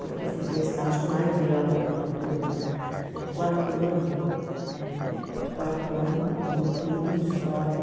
Porque eu fiz meu estágio lá e dei aula para uma turma de quarto ano, é, de quarto ano, no noturno, de história.